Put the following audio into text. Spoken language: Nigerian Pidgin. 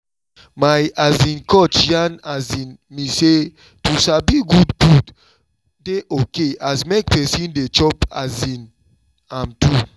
my um coach yarn um me say to sabi good food dey okay as make person dey chop um am too